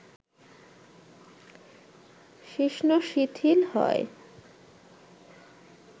শিশ্ন শিথিল হয়